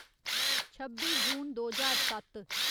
छब्बी जून दो ज्हार सत्त